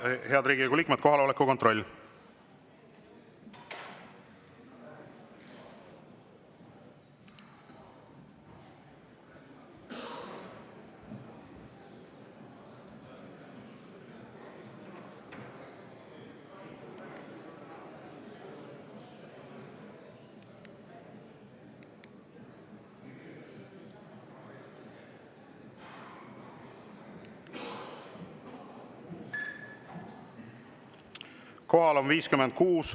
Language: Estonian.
Head Riigikogu liikmed, kohaloleku kontroll!